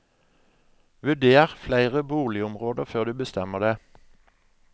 Vurder flere boligområder før du bestemmer deg.